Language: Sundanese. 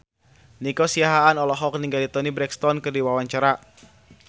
Nico Siahaan olohok ningali Toni Brexton keur diwawancara